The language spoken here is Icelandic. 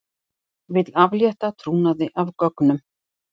Vill aflétta trúnaði af gögnum